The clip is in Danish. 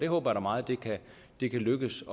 håber da meget at det kan lykkes